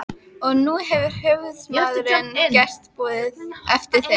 Og nú hefur höfuðsmaðurinn gert boð eftir þér.